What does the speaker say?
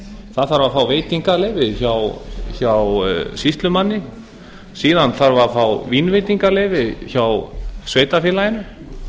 það þarf að fá veitingaleyfi hjá sýslumanni síðan þarf að fá vínveitingaleyfi hjá sveitarfélaginu